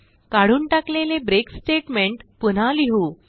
काढून टाकलेले break statement पुन्हा लिहू